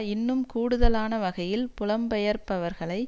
இன்னும் கூடுதலான வகையில் புலம்பெயர்பவர்களை